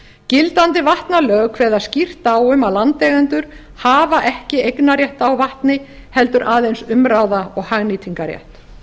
gildandi vatnalög kveða skýrt á um að landeigendur hafi ekki eignarrétt á vatni heldur aðeins umráða og hagnýtingarrétt